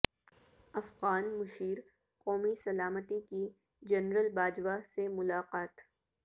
افغان مشیر قومی سلامتی کی جنرل باجوہ سے ملاقات